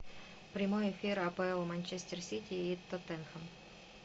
прямой эфир апл манчестер сити и тоттенхэм